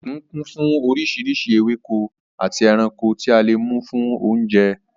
Òkun kún fún oríṣiríṣi ewéko àti ẹranko tí a lè mú fún oúnjẹ.